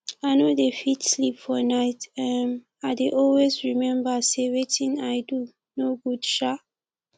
i no dey fit sleep for night um i dey always remember say wetin i do no good um